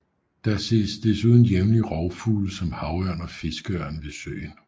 Der ses desuden jævnligt rovfugle som havørn og fiskeørn ved søen